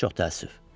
Çox təəssüf.